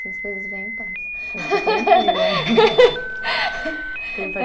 As coisas vêm e passam.